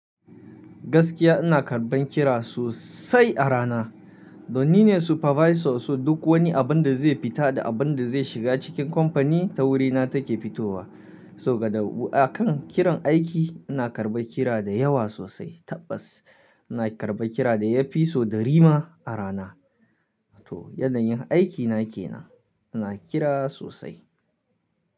Gaskiya ina karɓan kira sosai a rana. Don nine supervisor, so duk wani abin da zai fita da abin da zai shiga cikin company ta wurina take fitowa. So ga dabu'a kan kiran aiki ina karɓa kira da yawa sosai. Tabbas ina karɓan kira da ya fi so ɗari ma a rana. To yanayin aikina ke nan, ina kira sosai.